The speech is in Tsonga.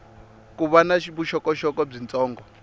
ko va na vuxokoxoko byitsongo